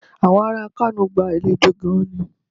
Àwọn ará Kano gba àlejò gan-an ni.